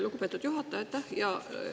Lugupeetud juhataja, aitäh!